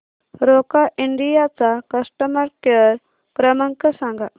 Roca India चा customer care क्रमांक सांगा